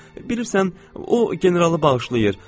Bilirsən, o generalı bağışlayır.